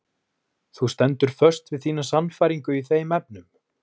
Þú stendur föst við þína sannfæringu í þeim efnum?